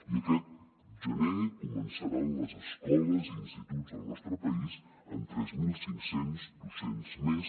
i aquest gener començaran les escoles i instituts del nostre país amb tres mil cinc cents docents més